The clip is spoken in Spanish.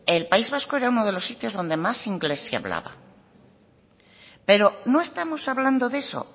el país vasco era uno de los sitios donde más inglés se hablaba pero no estamos hablando de eso